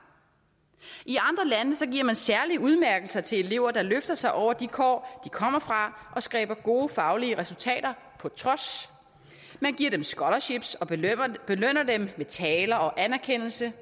i man særlige udmærkelser til elever der løfter sig over de kår de kommer fra og skaber gode faglige resultater på trods man giver dem scolarships og belønner dem med taler og anerkendelse